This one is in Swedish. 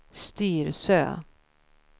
Styrsö